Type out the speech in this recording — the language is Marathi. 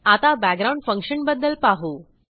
आता बॅकग्राउंड फंक्शन बद्दल पाहू